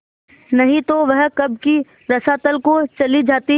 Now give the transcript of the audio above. नहीं तो वह कब की रसातल को चली जाती